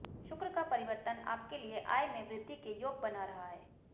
शुक्र का परिवर्तन आपके लिए आय में वृद्धि के योग बना रहा है